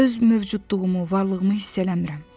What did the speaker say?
Öz mövcudluğumu, varlığımı hiss eləmirəm.